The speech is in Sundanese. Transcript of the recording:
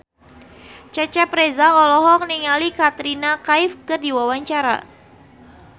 Cecep Reza olohok ningali Katrina Kaif keur diwawancara